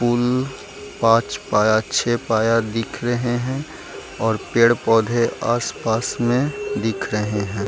पुल पाँच पाया छे पाया दिख रहे है और पेड़-पौधे आस-पास में दिख रहे हैं।